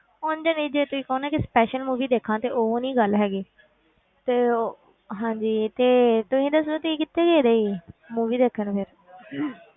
ਉਞ ਨਹੀਂ ਜੇ ਤੁਸੀਂ ਕਹੋ ਨਾ ਕਿ special movie ਦੇਖਾਂ ਤੇ ਉਹ ਨੀ ਗੱਲ ਹੈਗੀ ਤੇ ਉਹ ਹਾਂਜੀ ਤੇ ਤੁਸੀਂ ਦੱਸੋ ਤੁਸੀਂ ਕਿੱਥੇ ਗਏ ਸੀ movie ਦੇਖਣ ਫਿਰ